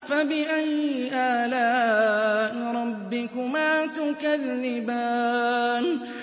فَبِأَيِّ آلَاءِ رَبِّكُمَا تُكَذِّبَانِ